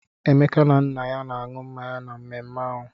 Emeka na nna ya na-aṅụ mmanya na mmemme ahụ.